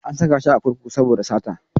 An saka shi a kurkuku saboda sata.